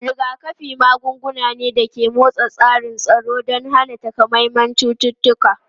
Rigakafi magunguna ne da ke motsa tsarin tsaro don hana takamaiman cututtuka.